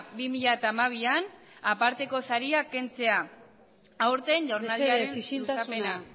bi mila hamabi aparteko saria kentzea aurten jaurlaritzaren luzapena mesedez isiltasuna